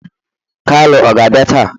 Kalu ọ ga-abịa taa?